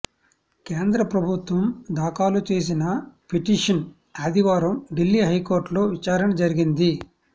కేంద్ర ప్రభుత్వం దాఖలు చేసిన పిటిషన్ ఆదివారం ఢిల్లీ హైకోర్టులో విచారణ జరిగింది